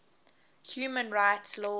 human rights law